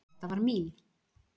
Þetta var mín.